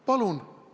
Palun!